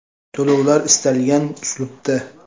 To‘lovlar istalgan uslubda.